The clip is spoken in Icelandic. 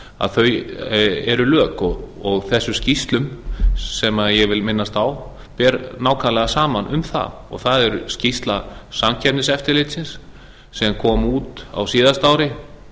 að þau eru gegn og þessum skýrslum sem ég vil minnast á ber nákvæmlega saman um það og það er skýrsla samkeppniseftirlitsins sem kom út á síðasta ári